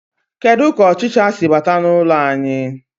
Kedu ka ọchịcha si bata n'ụlọ anyị.